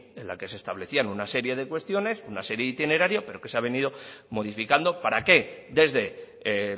en la que se establecían una serie de cuestiones una serie de itinerarios pero que se ha venido modificando para que desde